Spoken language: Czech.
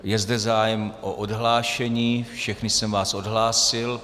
Je zde zájem o odhlášení, všechny jsem vás odhlásil.